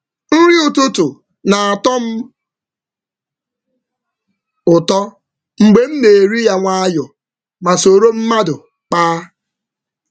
Nri ụtụtụ na-atọ m ụtọ mgbe m na-eri ya nwayọọ ma soro mmadụ kpaa.